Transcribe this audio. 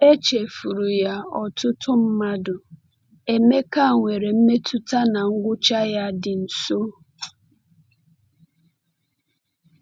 Echefuru ya ọtụtụ mmadụ, Emeka nwere mmetụta na ngwụcha ya dị nso.